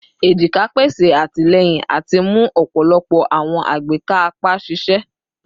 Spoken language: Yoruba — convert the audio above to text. ejika pese atilẹyin ati mu ọpọlọpọ awọn agbeka apa ṣiṣẹ